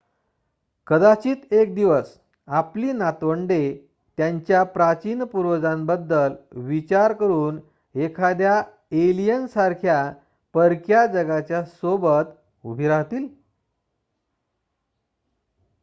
कदाचित एक दिवस आपली नातवंडे त्यांच्या प्राचीन पूर्वजांबद्दल विचार करून एखाद्या एलियन सारख्या परक्या जगाच्या सोबत उभी राहतील